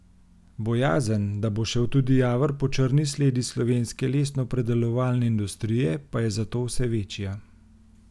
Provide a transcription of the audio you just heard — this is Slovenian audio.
Bojazen, da bo šel tudi Javor po črni sledi slovenske lesnopredelovalne industrije, pa je zato vse večja.